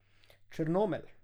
Črnomelj.